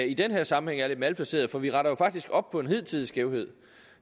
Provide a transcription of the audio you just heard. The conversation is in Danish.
i den her sammenhæng er lidt malplaceret for vi retter jo faktisk op på en hidtidig skævhed